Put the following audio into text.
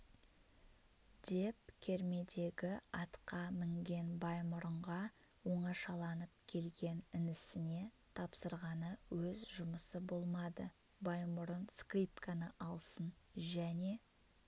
деп кермедегі атқа мінген баймұрынға оңашаланып келген інісіне тапсырғаны өз жұмысы болмады баймұрын скрипканы алсын және